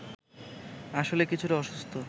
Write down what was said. আসলে কিছুটা অসুস্থ